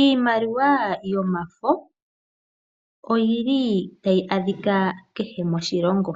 Iimaliwa yomafo oyi li tayi adhika kehe moshilongo.